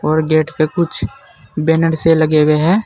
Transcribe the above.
और गेट पे कुछ बैनर से लगे हुए हैं।